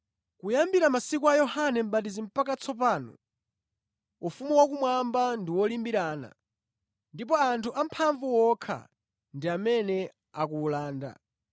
Kuyambira masiku a Yohane Mʼbatizi mpaka tsopano, ufumu wakumwamba ndi wolimbirana ndipo anthu amphamvu okha ndi amene akuwulanda.